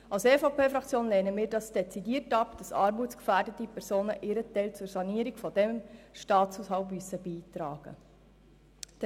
Die EVP-Fraktion lehnt es dezidiert ab, dass armutsgefährdete Personen ihren Teil zur Sanierung des Staatshaushalts beitragen müssen.